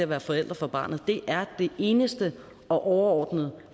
være forældre for barnet det er det eneste og overordnede